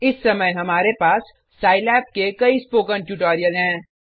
इस समय हमारे पास सिलाब के कई स्पोकन ट्यूटोरियल हैं